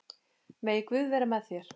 Megi Guð vera með þér.